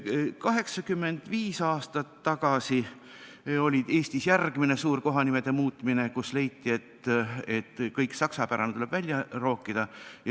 85 aastat tagasi oli Eestis järgmine suur kohanimede muutmine, kui leiti, et kõik saksapärane tuleb välja rookida.